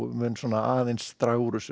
mun aðeins draga úr þessu